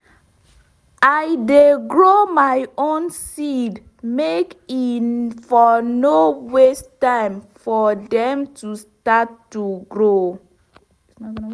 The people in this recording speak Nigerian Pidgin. i dey grow my own seed make e for nor waste time for dem to start to grow